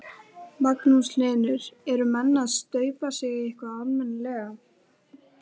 Magnús Hlynur: Eru menn að staupa sig eitthvað almennilega?